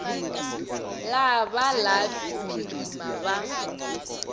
la ba la phirima ba